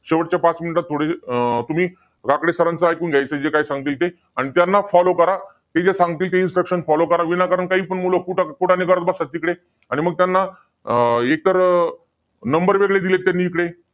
जातीच्या स्त्रियांना वस्त्र वापरण्यास वापरण्याच्या बाबतीत रानटी प्रवृत्ती वापर करी वावरत होती. त्या स्त्रिया छातीवर कसल्याच प्रकारचे वस्त्र वापरत नसत.